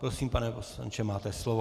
Prosím, pane poslanče, máte slovo.